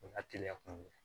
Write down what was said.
O hakilila kun ye